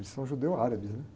Eles são judeu árabes, né?